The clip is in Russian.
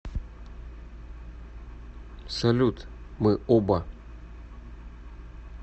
салют мы оба